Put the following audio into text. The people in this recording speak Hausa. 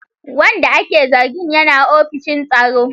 Wanda ake zargin yana ofishin tsaro.